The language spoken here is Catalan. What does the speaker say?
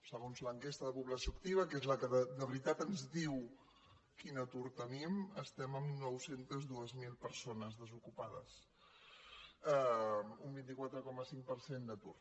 segons l’enquesta de població activa que és la que de veritat ens diu quin atur tenim estem amb nou cents i dos mil persones desocupades un vint quatre coma cinc per cent d’atur